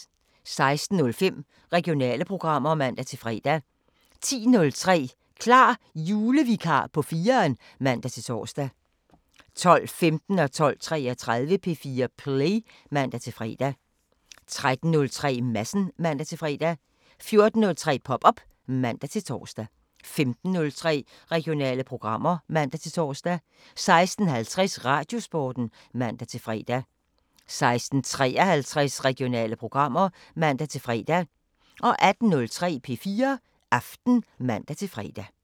06:05: Regionale programmer (man-fre) 10:03: Klar Julevikar på 4'eren (man-tor) 12:15: P4 Play (man-fre) 12:33: P4 Play (man-fre) 13:03: Madsen (man-fre) 14:03: Pop op (man-tor) 15:03: Regionale programmer (man-tor) 16:50: Radiosporten (man-fre) 16:53: Regionale programmer (man-fre) 18:03: P4 Aften (man-fre)